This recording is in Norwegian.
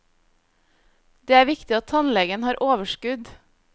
Det er viktig at tannlegen har overskudd.